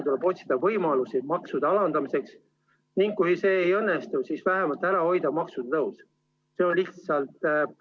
Tuleb otsida võimalusi maksude alandamiseks ning kui see ei õnnestu, siis vähemalt ära hoida maksutõus.